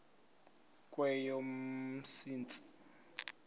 kweyomsintsi